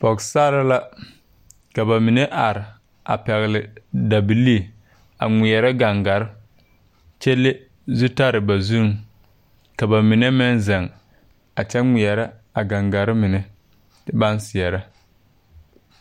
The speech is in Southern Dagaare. Pogesarre la ka ba mine are a pɛgle dabilii a ngmɛɛrɛ gaŋgarre kyɛ le zutarre ba zuree ka ba mine meŋ zeŋ a kyɛ ngmɛɛrɛ a gaŋgarre mine baŋ seɛɛrɛ.